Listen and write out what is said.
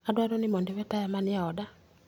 adwaro ni mondo iwe taya manie oda.